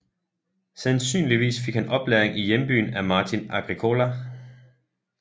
Sandsynligvis fik han oplæring i hjembyen af Martin Agricola